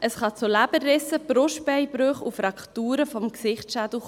Es kann zu Leberrissen, Brustbeinbrüchen und Frakturen des Schädels kommen.